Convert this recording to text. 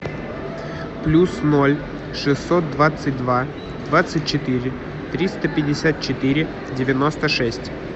плюс ноль шестьсот двадцать два двадцать четыре триста пятьдесят четыре девяносто шесть